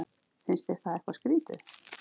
Finnst þér það eitthvað skrýtið?